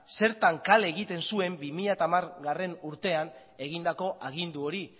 zertan kale egiten zuen bi mila hamargarrena urtean egindako agindu hori